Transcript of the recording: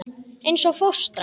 Eins og fóstra.